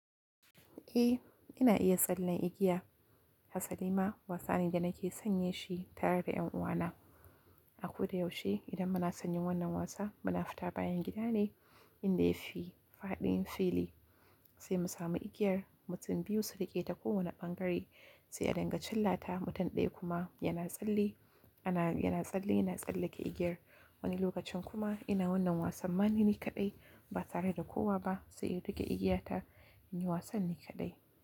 Eh, ina iya tsalle igiya. Hassali ma wasani da nake sanye shi tare da yan uwana. A ko da yaushe idan muna sanyin wannan wasa muna fita bayan gida ne inda ya fi fadin fili sai mu sami igiyar, mutum biyu su riƙe ta kowane ɓangare sai a danganci lata, mutum daya kuma yana tsalle, yana tsalle yana tsallake igiyar. Wani lokacin kuma ina wannan wasan maneni kaɗai ba tare da kowa ba sai in riƙe igiya ta in yi wasanni kaɗai.